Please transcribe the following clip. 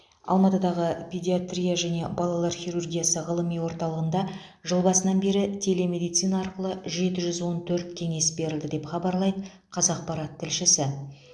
алматыдағы педиатрия және балалар хирургиясы ғылыми орталығында жыл басынан бері телемедицина арқылы жеті жүз он төрт кеңес берілді деп хабарлайды қазақпарат тілшісі